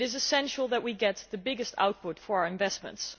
It is essential that we get the biggest output for our investments.